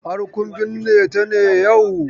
Har kun binne ta ne yau?